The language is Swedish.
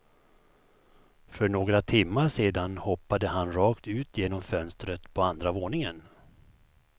För några timmar sedan hoppade han rakt ut genom fönstret på andra våningen.